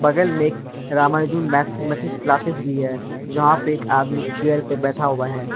बगल मे एक रामानुजन मैथमेटिक्स क्लासेस भी है जहां पे एक आदमी चेयर पर बैठा हुआ है।